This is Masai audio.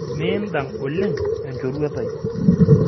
Mindang oleng enchoruet ai.